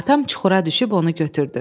Atam çuxura düşüb onu götürdü.